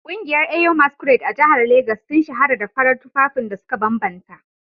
Kungiyar Eyo masquerade a jihar Legas sun shahara da farar tufafin da suka bambanta